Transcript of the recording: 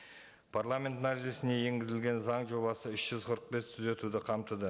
парламент мәжілісіне енгізілген заң жобасы үш жүз қырық бес түзетуді қамтыды